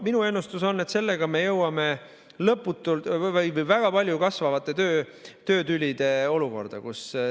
Minu ennustus on, et sellega me jõuame kasvavate töötülide olukorda.